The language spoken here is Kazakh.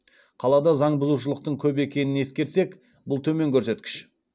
қалада заңбұзушылықтың көп екенін ескерсек бұл төмен көрсеткіш